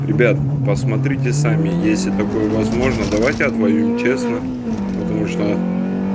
ребята посмотрите сами если такое возможно давайте отвоюем честно потому что